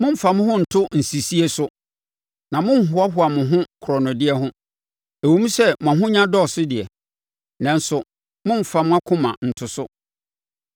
Mommfa mo ho nto nsisie so na monnhoahoa mo ho korɔnodeɛ ho; ɛwom sɛ mo ahonya dɔɔso deɛ, nanso mommfa mo akoma nto so.